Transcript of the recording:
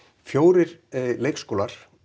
fjórir leikskólar